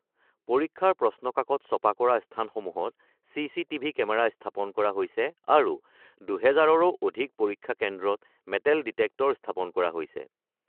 পৰীক্ষাৰ প্ৰশ্নকাকত ছপা কৰা স্থানসমূহত চিচিটিভি কেমেৰা স্থাপন কৰা হৈছে আৰু ২০০০ৰো অধিক পৰীক্ষা কেন্দ্ৰত মেটেল ডিটেক্টৰ স্থাপন কৰা হৈছে।